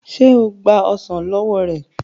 ṣe o gba ọsán ló wọ rẹ?